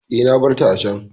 E, na bar ta a can.